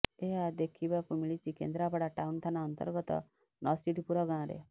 ଏହା ଦେଖିବାକୁ ମିଳିଛି କେନ୍ଦ୍ରାପଡା ଟାଉନ ଥାନା ଅନ୍ତର୍ଗତ ନସଡିପୁର ଗାଁରେ